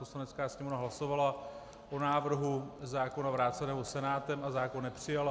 Poslanecká sněmovna hlasovala o návrhu zákona vráceného Senátem a zákon nepřijala.